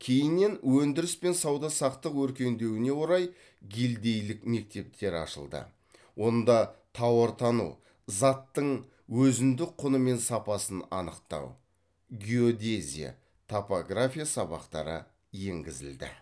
кейіннен өндіріс пен сауда өркендеуіне орай гильдейлік мектептер ашылды онда тауартану заттың өзіндік құны мен сапасын анықтау геодезия топография сабақтары енгізілді